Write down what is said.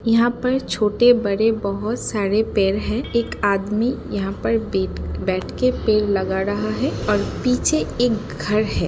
यहाँ पर छोटे बड़े बहोत सारे पेड़ है एक आदमी यहाँ पर बैठ के पेड़ लगा रहा है और पीछे एक घर है ।